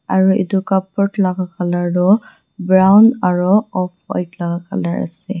aru etu cupboard laga colour toh brown aru offwhite colour ase.